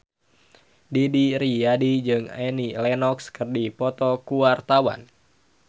Didi Riyadi jeung Annie Lenox keur dipoto ku wartawan